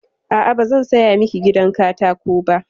A'a, ba zan saya miki gidan katako ba.